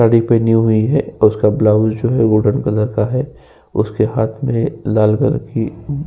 साड़ी पहनी हुई है उसका ब्लाउस जो है गोल्डन कलर का है। उसके हाथ में लाल कलर की --